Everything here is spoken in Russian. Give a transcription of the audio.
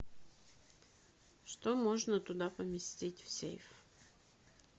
что можно туда поместить в сейф